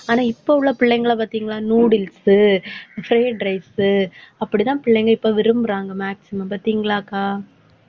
ஆனா இப்ப உள்ள பிள்ளைங்களை பாத்தீங்களா noodles உ, fried rice உ அப்படிதான் பிள்ளைங்க இப்ப விரும்பறாங்க maximum பாத்தீங்களாக்கா?